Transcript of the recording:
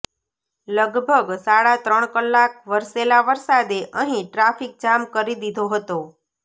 લગભગ સાડા ત્રણ કલાક વરસેલા વરસાદે અહીં ટ્રાફિક જામ કરી દીધો હતો